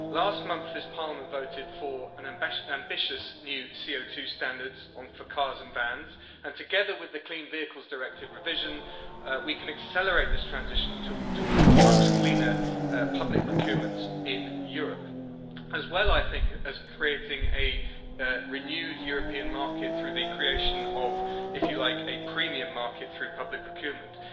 Last month, this Parliament voted for ambitious new CO2 standards for cars and vans and, together with the Clean Vehicles Directive revision, we can accelerate this transition towards much cleaner public procurement in Europe, as well, I think, as creating a renewed European market through the creation of, if you like, a premium market through public procurement.